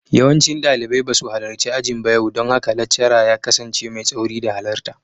Yawancin dalibai ba su halarci ajin yau ba don haka laccara ya kasance mai tsauri da halarta.